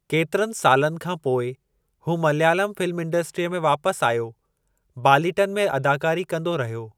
केतिरनि सालनि खां पोइ हू मलयालम फ़िल्म इंडस्ट्रीअ में वापस आयो बालीटन में अदाकारी कंदो रहियो।